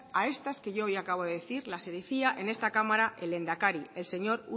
a estas que hoy yo acabo de decir las decía en esta cámara el lehendakari el señor